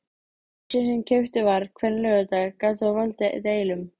Ísinn sem keyptur var hvern laugardag gat þó valdið deilum.